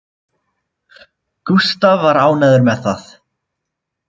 Gústaf var ánægður með það